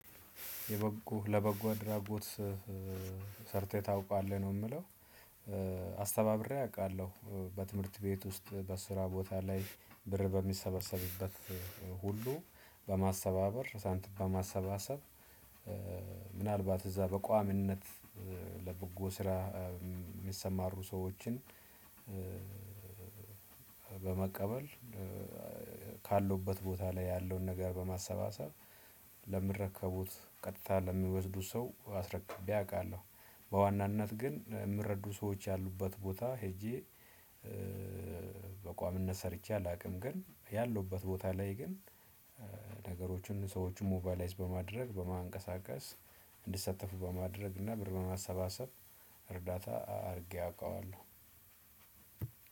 የበጎ ለበጎ ድራጎት ሰርተህ ታውቃለህ ነው የምለው? አስተባብሬ አውቃለሁ በትምህርት ቤት ውስጥ በስራ ቦታ ላይ ብር በሚሰበሰብበት ሁሉ በማሰባበር ሳንቲም በማሰባሰብ። ምናልባት እዛ በቋምነት ለበጎ ስራ የሚሰማሩ ሰዎችን በመቀበል ካለውበት ቦታ ላይ ያለውን ነገር በማሰባሰብ ለሚረከቡት ቀጥታ ለሚወስዱት ሰው አስረክቤ አውቃለሁ። በዋናነት ግን የምረዱ ሰዎች ያሉበት ቦታ ሄጄ በቋሚነት ሰርቼ አላውቅም። ግን ያለሁበት ቦታ ላይ ግን ሰዎችን ሞቫላይዝ በማድረግ በማንቀሳቀስ እንዲሳተፉ በማድረግ እና ብር በማሰባሰብ እርዳታ አድርጌ አውቀዋለሁ።